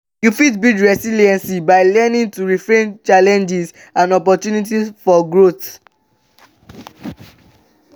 you fit build resilience by learning to reframe challenges and opportunity for growth.